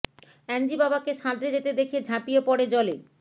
অ্যাঞ্জি বাবাকে সাঁতরে যেতে দেখে ঝাঁপিয়ে পড়ে জলে